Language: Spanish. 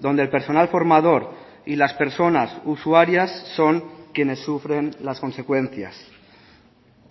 donde el personal formador y las personas usuarias son quienes sufren las consecuencias